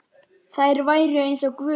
Mér var kalt.